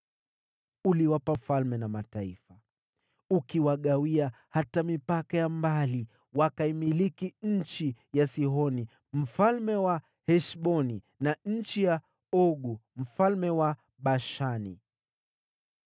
“Uliwapa falme na mataifa, ukiwagawia hata mipaka ya mbali. Wakaimiliki nchi ya Sihoni mfalme wa Heshboni, na nchi ya Ogu mfalme wa Bashani.